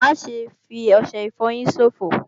Má ṣe fi ọṣẹ ìfọyín ṣòfò!